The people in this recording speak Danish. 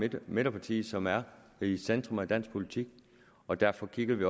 et midterparti som er i centrum af dansk politik og derfor kigger vi